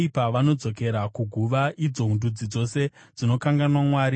Vakaipa vanodzokera kuguva, idzo ndudzi dzose dzinokanganwa Mwari.